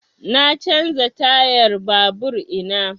Na canza tayan babur ina